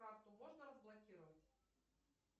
карту можно разблокировать